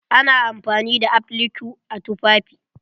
Ana amfani da applique a tufafi.